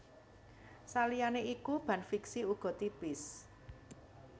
Saliyane iku ban fixie uga tipis